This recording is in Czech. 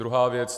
Druhá věc.